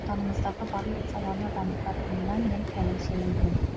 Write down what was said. отанымыздағы барлық саланы дамытанына мен кәміл сенімдімін